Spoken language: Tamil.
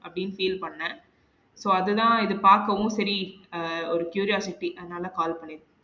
அப்டின்னு feel பண்ணன் so அதுதான் இது பாக்கவும் செரி அஹ் ஒரு curiosity அதுனால call பண்ணி இருக்கன்